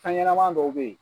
Fɛnɲɛnɛma dɔw bɛ yen.